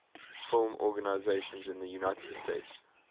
film organizations in the united states